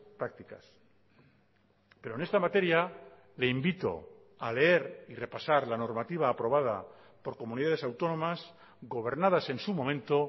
prácticas pero en esta materia le invito a leer y repasar la normativa aprobada por comunidades autónomas gobernadas en su momento